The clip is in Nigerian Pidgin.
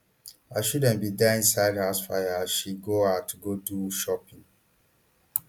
her children bin die inside house fire as she go out go do shopping